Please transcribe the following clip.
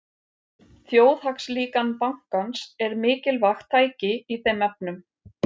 Þjóðhagslíkan bankans er mikilvægt tæki í þeim efnum.